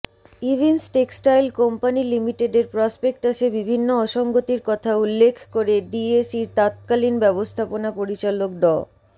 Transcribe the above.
Evince textile company লিমিটেডের প্রসপেক্টাসে বিভিন্ন অসঙ্গতির কথা উল্লেখ করে ডিএসইর তৎকালীন ব্যবস্থাপনা পরিচালক ড